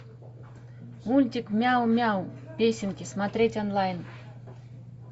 мультик мяу мяу песенки смотреть онлайн